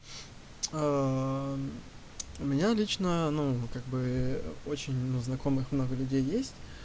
у меня лично ну как бы очень много знакомых много людей есть